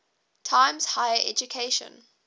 times higher education